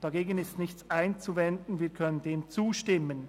Dagegen ist nichts einzuwenden, wir können dem zustimmen.